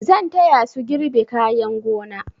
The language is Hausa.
Zan taya su girbe kayan gona.